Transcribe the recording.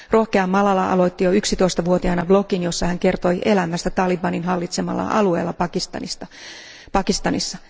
Rohkea Malala aloitti jo 11 vuotiaana blogin, jossa hän kertoi elämästä talibanin hallitsemalla alueella Pakistanissa.